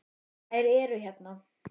Þær eru hérna